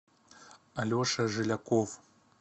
алеша жиляков